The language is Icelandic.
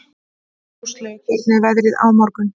Róslaug, hvernig er veðrið á morgun?